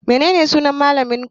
Menene sunan malamin ajinku?